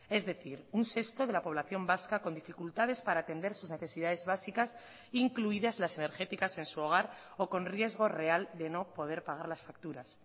es decir un sexto de la población vasca con dificultades para atender sus necesidades básicas incluidas las energéticas en su hogar o con riesgo real de no poder pagar las facturas